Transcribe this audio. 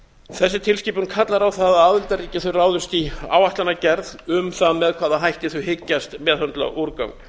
þessi tilskipun kallar á það að aðildarríki ráðist í áætlanagerð um það með hvaða hætti þau hyggjast meðhöndla úrgang